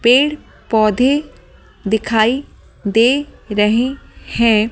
पेड़-पौधे दिखाई दे रहे हैं।